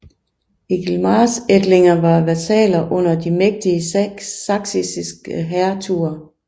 Egilmars ætlinger var vasaller under de mægtige sachsiske hertuger